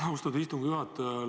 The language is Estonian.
Austatud istungi juhataja!